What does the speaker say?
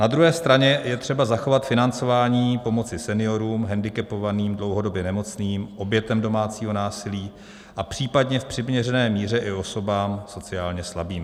Na druhé straně je třeba zachovat financování pomoci seniorům, hendikepovaným, dlouhodobě nemocným, obětem domácího násilí a případně v přiměřené míře i osobám sociálně slabým.